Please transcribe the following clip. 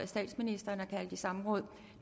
statsministeren er kaldt i samråd